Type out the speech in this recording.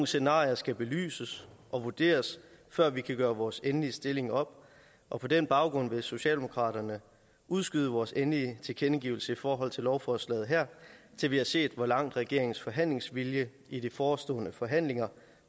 scenarier skal belyses og vurderes før vi kan gøre vores endelige stilling op og på den baggrund vil socialdemokraterne udskyde vores endelige tilkendegivelse i forhold til lovforslaget her til vi har set hvor langt regeringens forhandlingsvilje i de forestående forhandlinger